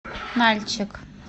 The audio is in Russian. нальчик